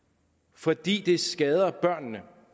fordi det skader børnene